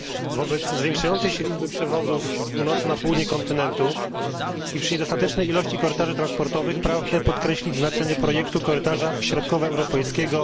Wobec zwiększającej się liczby przewozów z północy na południe kontynentu i przy niedostatecznej ilości korytarzy transportowych pragnę podkreślić znaczenie projektu Korytarza Środkowoeuropejskiego